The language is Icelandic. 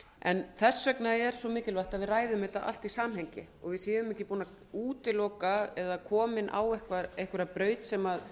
en þess vegna er mikilvægt að við ræðum þetta allt í samhengi og við séum ekki búin að útiloka eða komin á einhverja braut sem